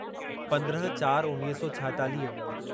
पंद्रहं चार उणिवीह सौ छाएतालीह